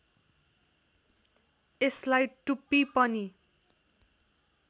यसलाई टुप्पी पनि